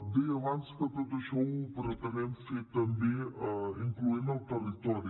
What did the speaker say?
deia abans que tot això ho pretenem fer també incloent hi el territori